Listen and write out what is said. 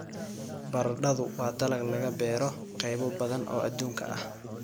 Baradhadu waa dalag laga beero qaybo badan oo adduunka ah.